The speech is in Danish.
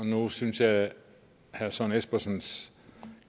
nu synes jeg at herre søren espersens